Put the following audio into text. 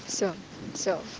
все